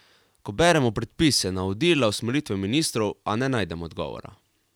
Ko beremo predpise, navodila, usmeritve ministrstev, a ne najdemo odgovora.